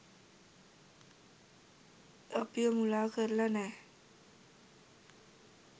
අපිව මුලා කරලා නෑ.